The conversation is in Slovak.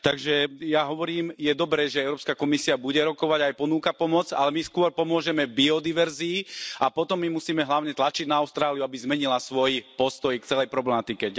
Takže ja hovorím je dobré, že Európska komisia bude rokovať a aj ponúka pomoc, ale my skôr pomôžeme biodiverzite a potom musíme hlavne tlačiť na Austráliu, aby zmenila svoj postoj k celej problematike.